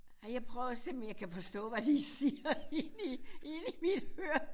Ej jeg prøver og se om jeg kan forstå hvad de siger inde i inde i mit høre